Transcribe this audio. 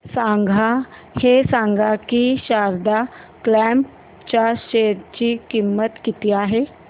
हे सांगा की शारदा क्रॉप च्या शेअर ची किंमत किती आहे